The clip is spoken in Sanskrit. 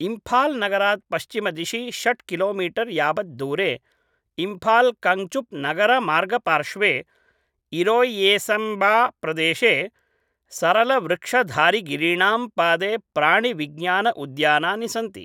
इम्फाल् नगरात् पश्चिमदिशि षट् किलोमीटर् यावत् दूरे इम्फाल् कङ्ग्चुप् नगरमार्गपार्श्वे इरोय्सेम्बाप्रदेशे सरलवृक्षधारिगिरीणां पादे प्राणिविज्ञान उद्यानानि सन्ति।